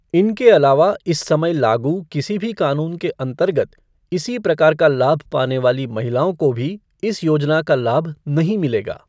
इनके अलावा इस समय लागू किसी भी कानून के अंतर्गत इसी प्रकार का लाभ पाने वाली महिलाओँ को भी इस योजना का लाभ नहीं मिलेगा।